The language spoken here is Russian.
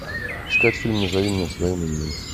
искать фильм назови меня своим именем